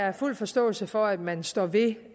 har fuld forståelse for at man står ved